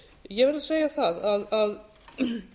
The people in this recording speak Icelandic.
ég verð að segja það að kærandinn í